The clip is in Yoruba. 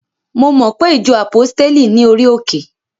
Mo mo pe ìjọ àpọ́stéli ní orí òkè?